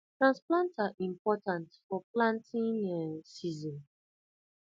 transplanter important for planting um season